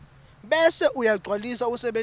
bese uyagcwalisa usebentise